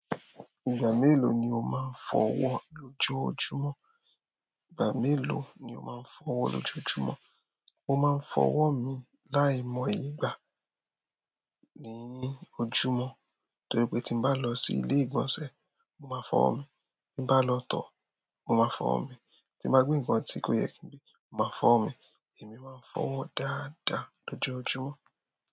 Ìgbà mélòó ni o máa ń fọ ọwọ́ lójoójúmọ́? Ìgbà mélòó ni o máa ń fọwọ́ lójoójúmọ́? Mo máa ń fọwọ́ mi láìmọ̀ye ìgbà ní ojúmọ́ torí pé tí n bá lọ sí ilé ìgbọ̀nsẹ̀, mo máa fọwọ́ mi, tí n bá lọ tọ̀, mo máa fọwọ́ mi, tí n bá gbe nǹkan tí kò yẹ kí n gbé, mo máa fọwọ́ mi. Èmi máa ń fọwọ́ dáadáa lójoójúmọ́.